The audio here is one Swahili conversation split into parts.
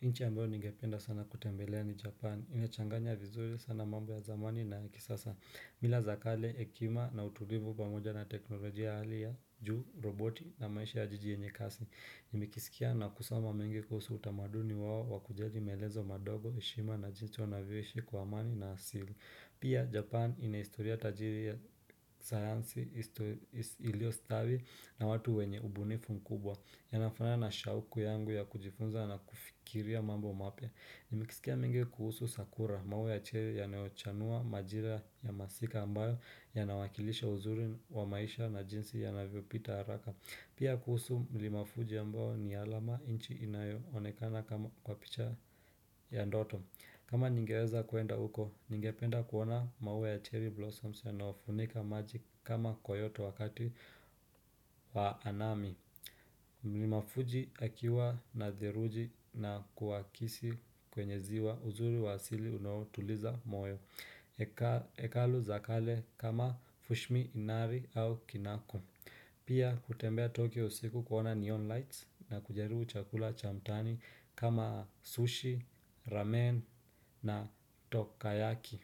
Inchi ambayo nigependa sana kutembelea ni Japan. Inachanganya vizuri sana mambo ya zamani na ya kisasa. Mila za kale, hekima na utulivu pamoja na teknolojia hali ya juu, roboti na maisha ya jiji yenye kasi. Nimekisikia na kusoma mengi kuhusu utamaduni wao wakujali meezo madogo, heshima na jinsi wanavyoishi kwa amani na asili. Pia Japan ina historia tajiri ya sayansi ilio stawi na watu wenye ubunifu mkubwa Yanafanana na shauku yangu ya kujifunza na kufikiria mambo mapya Nimekisikia mengi kuhusu Sakura mawe ya cheli yanayochanua majira ya masika ambayo Yanawakilisha uzuri wa maisha na jinsi yanavyo pita haraka Pia kuhusu milima fuji ambayo ni alama inchi inayo onekana kwa picha ya ndoto kama ningeweza kuenda huko, ningependa kuona mawe ya cherry blossoms yanayofunika maji kama kyoto wakati wa anami. Mlima fuji akiwa na theluji na kuakisi kwenye ziwa uzuri wa asili unaotuliza moyo. Ekalu za kale kama fushmi inari au kinako. Pia kutembea Tokyo siku kuona neon lights na kujaribu chakula cha mtaani kama sushi, ramen na tokayaki.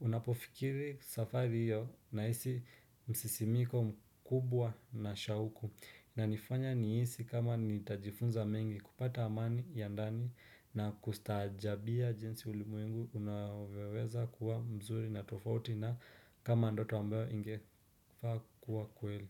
Unapofikiri safari hiyo na hisi msisimiko mkubwa na shauku. Inanifanya nihisi kama nitajifunza mengi kupata amani ya ndani na kustaajabia jinsi ulimwengu unavyoweza kuwa mzuri na tofauti na kama andoto ambayo ingefaa kuwa kweli.